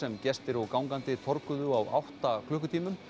sem gestir og gangandi á átta klukkutímum